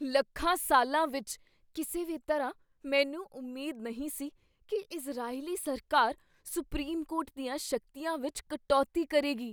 ਲੱਖਾਂ ਸਾਲਾਂ ਵਿੱਚ ਕਿਸੇ ਵੀ ਤਰ੍ਹਾਂ ਮੈਨੂੰ ਉਮੀਦ ਨਹੀਂ ਸੀ ਕੀ ਇਜ਼ਰਾਈਲੀ ਸਰਕਾਰ ਸੁਪਰੀਮ ਕੋਰਟ ਦੀਆਂ ਸ਼ਕਤੀਆਂ ਵਿੱਚ ਕਟੌਤੀ ਕਰੇਗੀ।